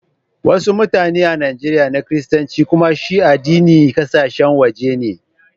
Wassu mutane a Nijeriya na kiristanci kumma shi addinin kasashen waje ne.